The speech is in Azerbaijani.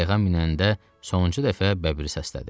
Qayığa minəndə sonuncu dəfə bəbiri səslədi.